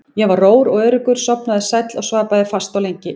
Ég var rór og öruggur, sofnaði sæll og svaf bæði fast og lengi.